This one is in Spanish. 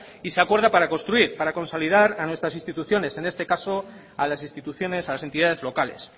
para construir para consolidar a nuestras instituciones en este caso a las instituciones a las entidades locales